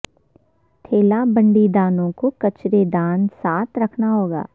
ٹھیلہ بنڈی رانوں کو کچرے دان ساتھ رکھنا ہوگا